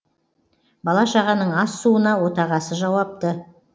бала шағаның ас суына отағасы жауапты